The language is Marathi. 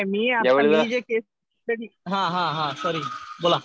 नाही नाही. मी जे केस स्टडी आता हा हा सॉरी.